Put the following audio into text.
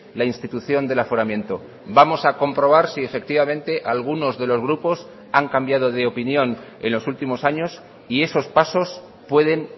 la institución del aforamiento vamos a comprobar si efectivamente algunos de los grupos han cambiado de opinión en los últimos años y esos pasos pueden